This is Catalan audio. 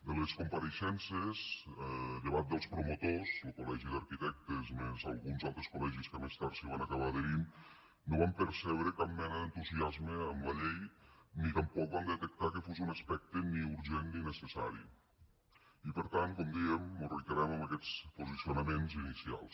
de les compareixences llevat dels promotors lo col·legi d’arquitectes més alguns altres col·legis que més tard s’hi van acabar adherint no vam percebre cap mena d’entusiasme amb la llei ni tampoc vam detectar que fos un aspecte ni urgent ni necessari i per tant com dèiem mos reiterem en aquests posicionaments inicials